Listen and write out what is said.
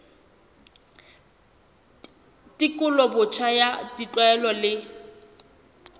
tekolo botjha ya ditlwaelo le